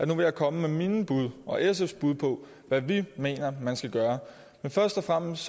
vil komme med mine bud og sfs bud på hvad vi mener man skal gøre men først og fremmest